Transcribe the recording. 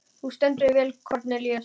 Þú stendur þig vel, Kornelíus!